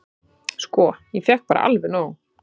"""Sko, ég fékk bara alveg nóg."""